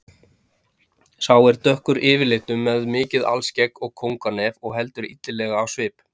Sá er dökkur yfirlitum með mikið alskegg og kónganef og heldur illilegur á svip.